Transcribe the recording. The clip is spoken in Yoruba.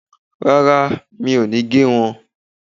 Rárá, mi ò ní gé wọn